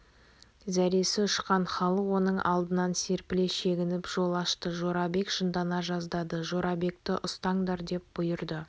зәресі ұшқан халық оның алдынан серпіле шегініп жол ашты жорабек жындана жаздады жорабекті ұстаңдар деп бұйырды